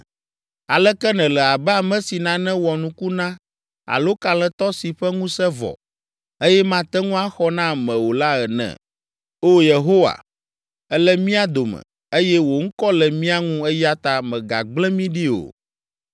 Aleke nèle abe ame si nane wɔ nuku na alo kalẽtɔ si ƒe ŋusẽ vɔ, eye mate ŋu axɔ na ame o la ene? O Yehowa, èle mía dome, eye wò ŋkɔ le mía ŋu eya ta mègagblẽ mi ɖi o!